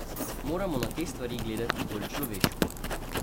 Moramo na te stvari gledati bolj človeško.